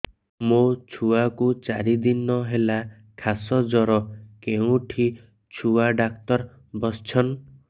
ମୋ ଛୁଆ କୁ ଚାରି ଦିନ ହେଲା ଖାସ ଜର କେଉଁଠି ଛୁଆ ଡାକ୍ତର ଵସ୍ଛନ୍